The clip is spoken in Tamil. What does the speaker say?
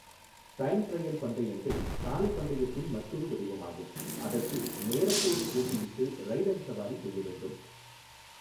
டைம் ட்ரையல் பந்தயங்கள், சாலை பந்தயத்தின் மற்றொரு வடிவமாகும், அதற்கு நேரத்தோடு போட்டியிட்டு ரைடர் சவாரி செய்ய வேண்டும்.